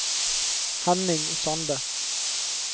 Henning Sande